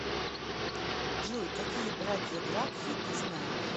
джой какие братья гракхи ты знаешь